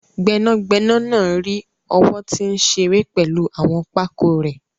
Gbẹnagbẹna naa ri owo ti nṣire pẹlu awọn pákó rẹ̀